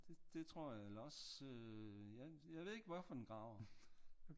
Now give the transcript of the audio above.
Det tror jeg eller også ja jeg ved ikke hvorfor den graver